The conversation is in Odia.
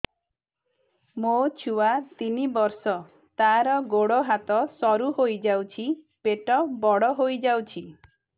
ମୋ ଛୁଆ ତିନି ବର୍ଷ ତାର ଗୋଡ ହାତ ସରୁ ହୋଇଯାଉଛି ପେଟ ବଡ ହୋଇ ଯାଉଛି